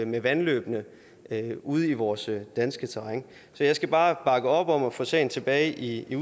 med vandløbene ude i vores danske terræn så jeg skal bare bakke op om at få sagen tilbage i i